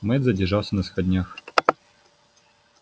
мэтт задержался на сходнях